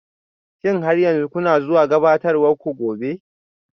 Shin har yanzu kuna zuwa gabatarwar ku gobe?